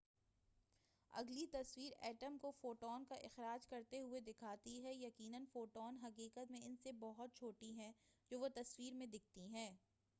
اگلی تصویر ایٹم کو فوٹون کا اخراج کرتے ہوئے دکھاتی ہے یقینا فوٹون حقیقت میں ان سے بہت چھوٹی ہیں جو وہ تصویر میں دکھتی ہیں